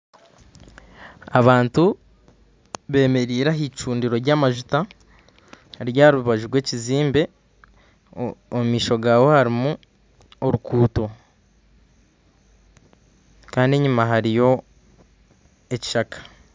Abantu bemereire ah'icundiro lyamajuta riri aharubaju rw'ekizimbe omumaisho gaho harumu oruguudo Kandi enyuma hariyo ekishaka.